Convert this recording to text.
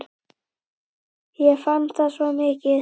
Ég fann það svo mikið.